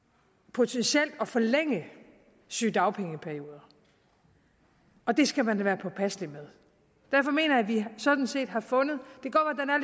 potentielt at forlænge sygedagpengeperioder og det skal man da være påpasselig med derfor mener jeg sådan set vi har fundet